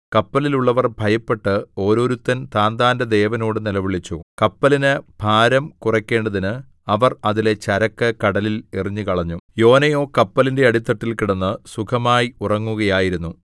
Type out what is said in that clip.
കപ്പലിൽ ഉള്ളവർ ഭയപ്പെട്ട് ഓരോരുത്തൻ താന്താന്റെ ദേവനോട് നിലവിളിച്ചു കപ്പലിന് ഭാരം കുറക്കേണ്ടതിന് അവർ അതിലെ ചരക്ക് കടലിൽ എറിഞ്ഞുകളഞ്ഞു യോനയോ കപ്പലിന്റെ അടിത്തട്ടിൽ കിടന്ന് സുഖമായി ഉറങ്ങുകയായിരുന്നു